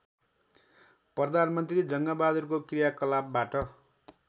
प्रधानमन्त्री जङ्गबहादुरको क्रियाकलापबाट